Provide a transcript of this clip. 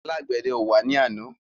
Alágbèdẹ ò wá ní àná.